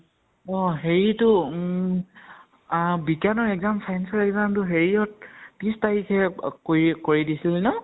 অ হেৰিটো উম আ বিজ্ঞানৰ exam science ৰ exam টো হেৰিঅত ত্ৰিছ তাৰিখে অ কৰি কৰি দিছিলে ন?